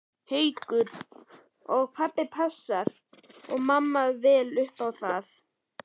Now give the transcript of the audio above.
Haukur: Og passa pabbi og mamma vel upp á það?